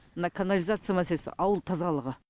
мына канализация мәселесі ауыл тазалығы